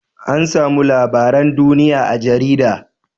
Ana samun labaran duniya a jarida